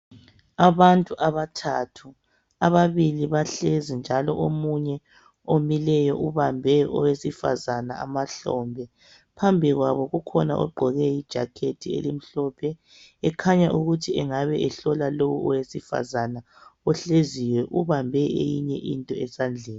Abantu abathathu. Ababili bahlezi, njalo omunye omileyo, ubambe owesifazana amahlombe. Phambi kwabo kukhona ogqoke ijacket elimhlophe. Ekhanya ukuthi angabe ehlola lo owesifazana ohleziyo. Ubambe eyinye into esandleni.